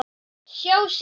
SJÁ SÍÐU.